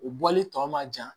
U bɔli tɔ ma jan